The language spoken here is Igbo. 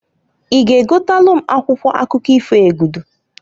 I g'egotalu m akwụkwọ akụkọ ifo Egudu?